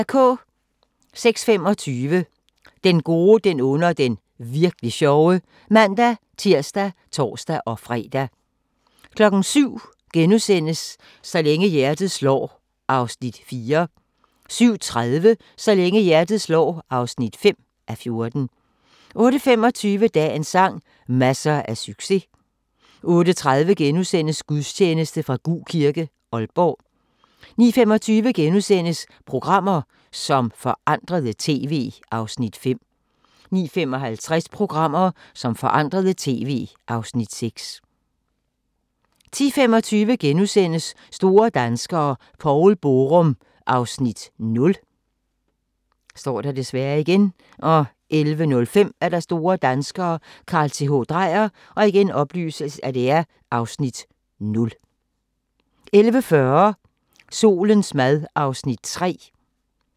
06:25: Den gode, den onde og den virk'li sjove (man-tir og tor-fre) 07:00: Så længe hjertet slår (4:14)* 07:30: Så længe hjertet slår (5:14) 08:25: Dagens sang: Masser af succes 08:30: Gudstjeneste fra Gug Kirke, Aalborg * 09:25: Programmer, som forandrede TV (Afs. 5)* 09:55: Programmer, som forandrede TV (Afs. 6) 10:25: Store danskere - Poul Borum (Afs. 0)* 11:05: Store danskere - Carl Th. Dreyer (Afs. 0) 11:40: Solens mad (Afs. 3)